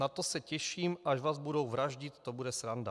Na to se těším, až vás budou vraždit, to bude sranda."